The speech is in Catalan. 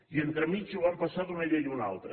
i entremig ho van passar d’una llei a una altra